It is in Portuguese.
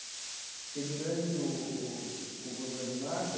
Porque durante o o o governo Marta,